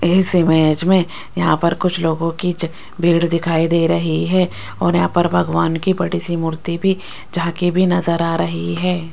इस इमेज में यहां पर कुछ लोगों की भीड़ दिखाई दे रही है और यहां पर भगवान की बड़ी सी मूर्ति भी झांकी भी नज़र आ रही है।